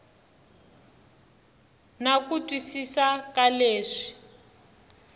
na ku twisisa ka leswi